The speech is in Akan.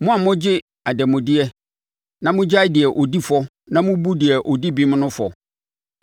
Mo a mogye adanmudeɛ, na mo gyae deɛ ɔdi fɔ na mo bu deɛ ɔdi bem no fɔ.